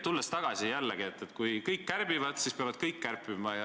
Tulles oma jutu alguse juurde tagasi: kui kõik kärbivad, siis peavad kõik kärpima.